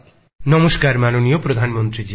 নমস্কার মাননীয় প্রধানমন্ত্রী জি